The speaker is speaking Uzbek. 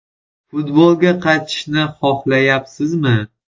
Futbolga qaytishni xohlayapsizmi?